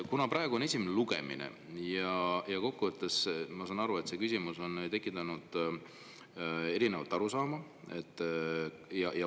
Praegu on esimene lugemine ja ma saan aru, et see küsimus on tekitanud erinevaid arusaamu.